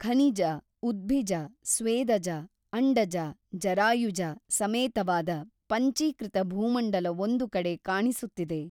ಖನಿಜ ಉದ್ಭಿಜ ಸ್ವೇದಜ ಅಂಡಜ ಜರಾಯುಜ ಸಮೇತವಾದ ಪಂಚೀಕೃತ ಭೂಮಂಡಲವೊಂದು ಕಡೆ ಕಾಣಿಸುತ್ತಿದೆ.